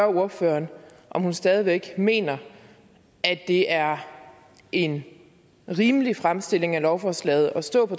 ordføreren om hun stadig væk mener at det er en rimelig fremstilling af lovforslaget at stå på